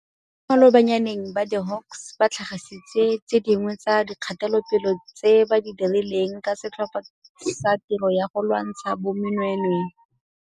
Mo malobanyaneng ba di-Hawks ba tlhagisitse tse dingwe tsa dikgatelopele tse ba di dirileng ka Setlhopha sa Tiro ya go Lwantsha Bonweenwee, mme setlhopha seno ke se sengwe sa ditlhopha tse e leng karolo ya Tikwatikwe ya Ditirelo tse di Golaganeng tsa go Phuruphutsha Bonweenwee.